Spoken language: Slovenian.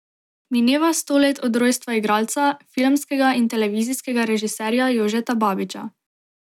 Mineva sto let od rojstva igralca, filmskega in televizijskega režiserja Jožeta Babiča.